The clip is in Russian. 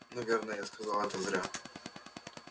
наверное я сказал это зря